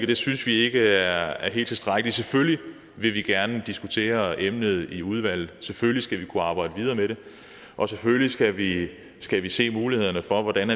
det synes vi ikke er er helt tilstrækkeligt selvfølgelig vil vi gerne diskutere emnet i udvalget selvfølgelig skal vi kunne arbejde videre med det og selvfølgelig skal vi skal vi se mulighederne for hvordan